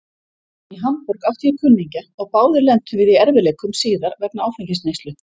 Í Hamborg átti ég kunningja og báðir lentum við í erfiðleikum síðar vegna áfengisneyslu.